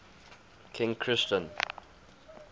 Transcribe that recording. king christian